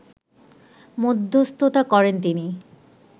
মধ্যস্থতা করেন তিনি